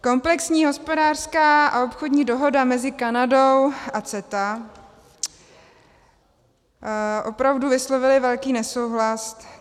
Komplexní hospodářská a obchodní dohoda mezi Kanadou a CETA, opravdu vyslovili velký nesouhlas.